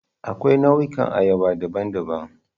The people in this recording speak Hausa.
Akwai nau'ikan ayaba daban-daban.